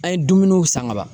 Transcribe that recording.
An ye dumuniw san ka ban